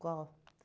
Qual?